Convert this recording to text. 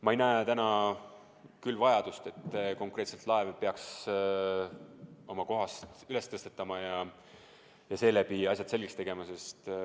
Ma ei näe täna küll vajadust, et laev tuleks oma kohalt üles tõsta ja selle abil asjad selgeks teha.